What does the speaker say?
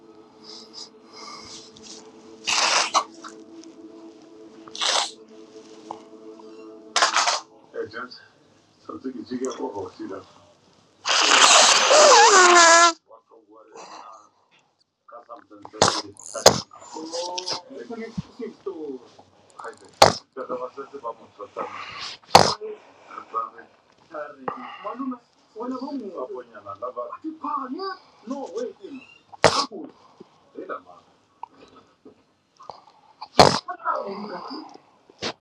ku ajet samsung option swi kahle ku fanele kusuka ka vatswari va mali malume na vona va nga van'wanyana lava tiphala no when ku hi lava onge